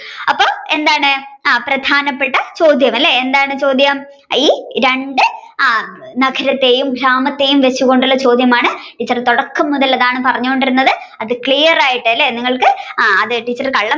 അപ്പൊ എന്താണ് ആ പ്രധാനപ്പെട്ട ചോദ്യം അല്ലെ എന്താണ് ചോദ്യം ഈ രണ്ടു നഗരത്തെയും വെച്ച് കൊണ്ടുള്ള ചോദ്യമാണ് ടീച്ചർ തുടക്കം മുതൽ അതാണ് പറഞ്ഞുകൊണ്ടിരുന്നത് അത് clear ആയിട്ട് അല്ലെ നിങ്ങൾക്ക് ആ അത് ടീച്ചർ കള്ളം